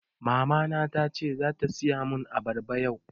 Mama na tace zata siya mun abarba yau